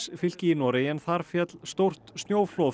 fylki í Noregi en þar féll stórt snjóflóð